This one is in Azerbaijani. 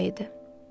Üç ay idi.